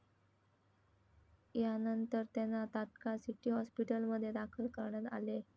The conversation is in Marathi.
यानंतर त्यांना तात्काळ सिटी हॉस्पीटलमध्ये दाखल करण्यात आले.